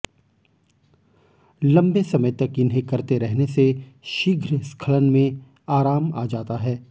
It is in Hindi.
लंबे समय तक इन्हें करते रहने से शीघ्र स्खलन में आराम आ जाता है